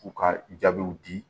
U ka jaabiw di